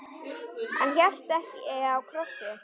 Hann hélt ekki á krossi.